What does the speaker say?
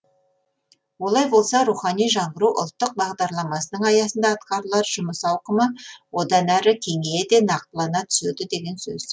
олай болса рухани жаңғыру ұлттық бағдарламасының аясында атқарылар жұмыс ауқымы одан әрі кеңейе де нақтылана түседі деген сөз